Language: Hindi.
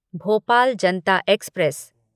भोपाल जनता एक्सप्रेस